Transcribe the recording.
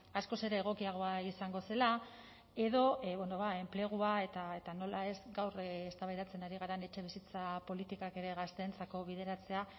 askoz ere egokiagoa izango zela edo enplegua eta nola ez gaur eztabaidatzen ari garen etxebizitza politikak ere gazteentzako bideratzea